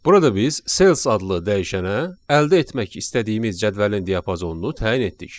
Burada biz sales adlı dəyişənə əldə etmək istədiyimiz cədvəlin diapazonunu təyin etdik.